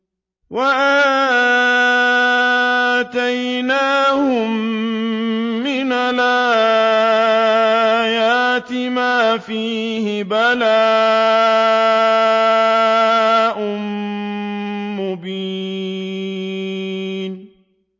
وَآتَيْنَاهُم مِّنَ الْآيَاتِ مَا فِيهِ بَلَاءٌ مُّبِينٌ